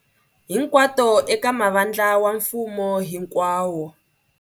Hinkwato eka mavandla wa mfumo hinkwawo.